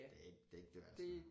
Det ikke det ikke det værd så